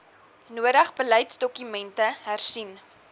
nodig beleidsdokumente hersien